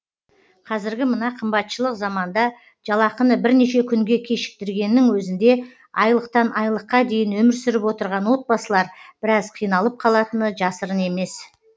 қазіргі мына қымбатшылық заманда жалақыны бірнеше күнге кешіктіргеннің өзінде айлықтан айлыққа дейін өмір сүріп отырған отбасылар біраз қиналып қалатыны жасырын емес